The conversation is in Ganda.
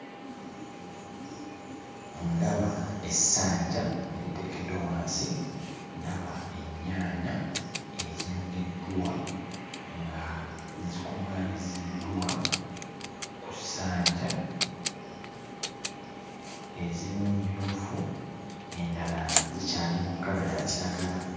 Ndaba essanja eriteekeddwa wansi, ndaba ennyaanya ezinogeddwa nga zikuŋŋaanyiziddwa ku ssanja. Ezimu mmyufu, endala zikyali mu kkala ya kiragala.